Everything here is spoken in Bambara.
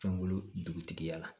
Fɛngolo dugutigiya la